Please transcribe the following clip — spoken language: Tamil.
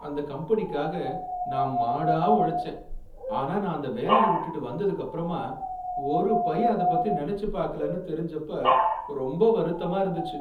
அந்த கம்பெனிக்காக நான் மாடா உழச்சேன், ஆனா நான் அந்த வேலையை விட்டு வந்ததுக்கு அப்புறமா ஒரு பய அதப்பத்தி நெனச்சு பாக்கலன்னு தெரிஞ்சப்ப ரொம்ப வருத்தமா இருந்துச்சு.